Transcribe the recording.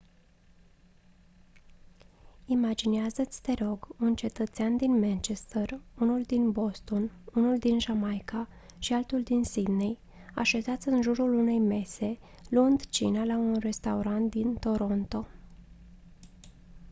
imaginează-ți te rog un cetățean din manchester unul din boston unul din jamaica și altul din sydney așezați în jurul unei mese luând cina la un restaurant în toronto